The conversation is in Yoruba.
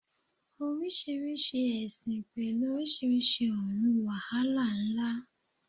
Oríṣiríṣi ẹ̀sìn pẹ̀lú oríṣiríṣi ọ̀run, wàhálà ńlá.